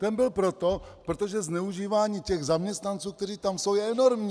Ten byl proto, protože zneužívání těch zaměstnanců, kteří tam jsou, je enormní.